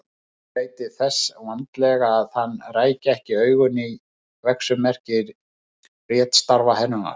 Hún gætti þess vandlega að hann ræki ekki augun í verksummerki ritstarfa hennar.